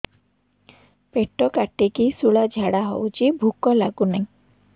ପେଟ କାଟିକି ଶୂଳା ଝାଡ଼ା ହଉଚି ଭୁକ ଲାଗୁନି